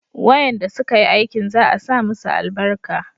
wayanda su ka yi aikin za a sa musu albarka